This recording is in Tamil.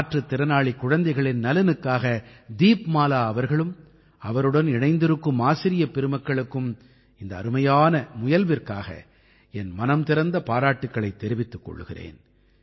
மாற்றுத் திறனாளிக் குழந்தைகளின் நலனுக்காக தீப்மாலா அவர்களும் அவருடன் இணைந்திருக்கும் ஆசிரியப் பெருமக்களுக்கும் இந்த அருமையான முயல்விற்காக என் மனம் திறந்த பாராட்டுக்களைத் தெரிவித்துக் கொள்கிறேன்